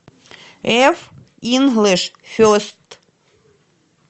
эф инглиш фест